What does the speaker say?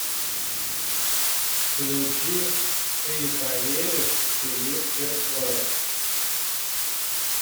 включи ты поверишь филипп киркоров